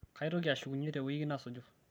kaitoki ashukunye te woiki nasuju